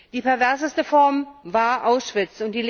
Die perverseste Form war Auschwitz.